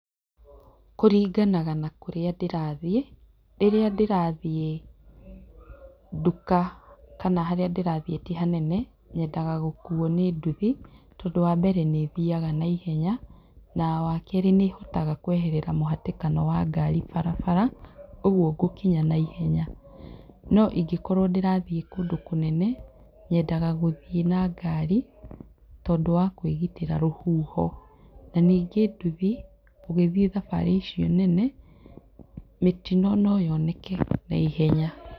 Kũringanaga na kũrĩa ndĩrathiĩ, rĩrĩa ndĩrathiĩ nduka kana harĩa ndĩrathiĩ ti hanene, nyendaga gũkuo nĩnduthi tondũ wambere nĩĩthiaga na ihenya, na wakerĩ nĩhotaga kweherera mũhatĩkano wa ngari barabara, ũguo ngũkinya na ihenya. Noangĩkorwo ndĩrathiĩ kũndũ kũnene, nyendaga gũthiĩ na ngari tondũ wa kwĩgitĩra rũhuho. Nanyingĩ nduthi, ũgĩthiĩ thabarĩ icio nene, mĩtino no yoneke na ihenya.